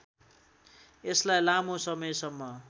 यसलाई लामो समयसम्म